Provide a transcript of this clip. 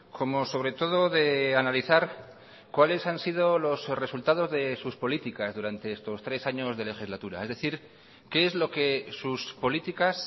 como sobre todo de analizar cuáles han sido los resultados de sus políticas durante estos tres años de legislatura es decir qué es lo que sus políticas